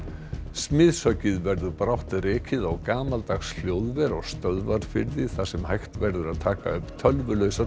smiðshöggið verður brátt rekið á gamaldags hljóðver á Stöðvarfirði þar sem hægt verður að taka upp